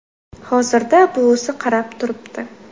Hozirda buvisi qarab turibdi.